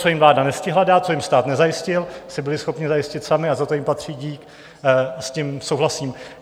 Co jim vláda nestihla dát, co jim stát nezajistil, si byli schopni zajistit sami a za to jim patří dík, s tím souhlasím.